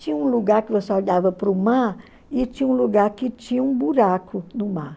Tinha um lugar que você olhava para o mar e tinha um lugar que tinha um buraco no mar.